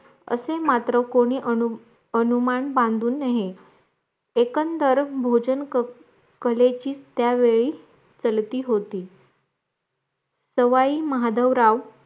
असे मात्र कोणी आनु अनुमान बंधू नये एकंदर भोजन क कलेचीत त्या वेळी सलती होती सवाई माधवराव